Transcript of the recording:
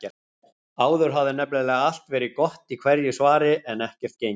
Áður hafði nefnilega allt verið gott í hverju svari, en ekkert gengið.